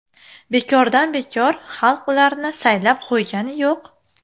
Bekordan bekor xalq ularni saylab qo‘ygani yo‘q.